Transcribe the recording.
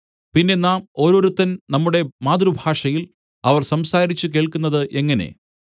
പിന്നെ നാം ഓരോരുത്തൻ നമ്മുടെ മാതൃഭാഷയിൽ അവർ സംസാരിച്ചു കേൾക്കുന്നത് എങ്ങനെ